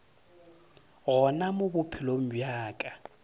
gona mo bophelong bja ka